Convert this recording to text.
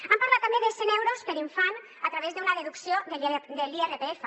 han parlat també de cent euros per infant a través d’una deducció de l’irpf